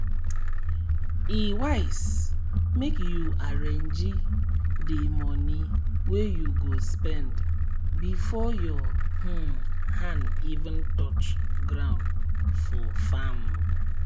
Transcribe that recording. e wise make you arrange d moni wey you go spend before your um hand even touch ground for farm.